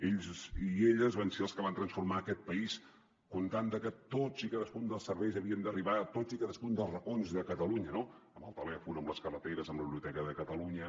ells i elles van ser els que van transformar aquest país comptant que tots i cadascun dels serveis havien d’arribar a tots i cadascun dels racons de catalunya el telèfon les carreteres la biblioteca de catalunya